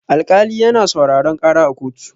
Alkali yana sauraron ƙara a kotu.